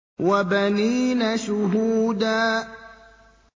وَبَنِينَ شُهُودًا